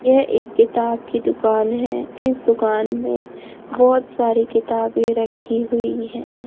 यह एक किताब की दुकान है इस दुकान में बहोत सारी किताबें रखी हुई हैं।